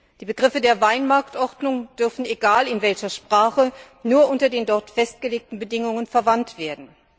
Die Begriffe der Weinmarktordnung dürfen, egal in welcher Sprache, nur unter den dort festgelegten Bedingungen verwendet werden.